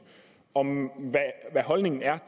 om hvad holdningen er